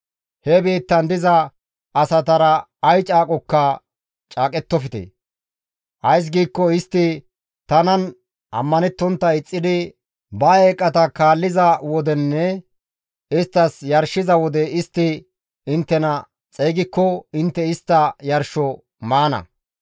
«He biittan diza asatara ay caaqokka caaqettofte; ays giikko istti tanan ammanettontta ixxidi ba eeqata kaalliza wodenne isttas yarshiza wode istti inttena xeygikko intte istta yarsho maana.